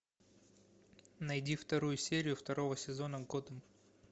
найди вторую серию второго сезона готэм